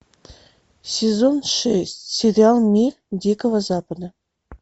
сезон шесть сериал мир дикого запада